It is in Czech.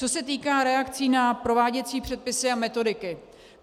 Co se týká reakcí na prováděcí předpisy a metodiky.